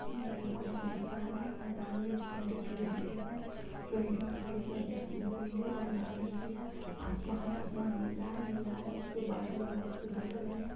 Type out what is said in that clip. ये एक खुला अ मैदान है| मैदान मे मल्टी स्टोरी बिल्डिंग है| बिल्डिंग सफेद आ सब पीले और लाल रंग की है| आसमान है आसमान नीला है नीला है| उसमे बादल बहुत सुंदर लग रहे है।